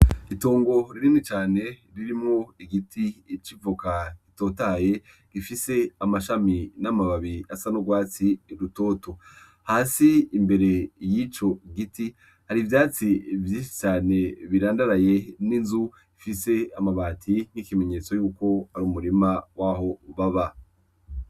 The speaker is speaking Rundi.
Itongo ririni cane ririmo igiti icivoka gitotaye gifise amashami n'amababi asa n'urwatsi i rutoto hasi imbere y'ico giti hari ivyatsi vyishi cane birandaraye n'inzu ifise amabati n'ikimenyetso yuko ari umurima waho ubaba.